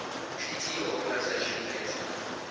treaty organization nato